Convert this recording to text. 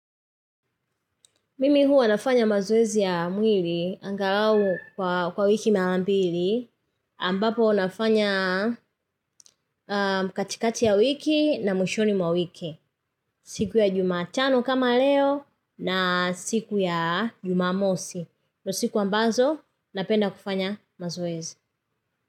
Mimi huwa nafanya mazoezi ya mwili angalau kwa wiki mala mbili ambapo nafanya katikati ya wiki na mwishoni mwa wiki. Siku ya jumatano kama leo na siku ya jumamosi. Ndo siku ambazo napenda kufanya mazoezi.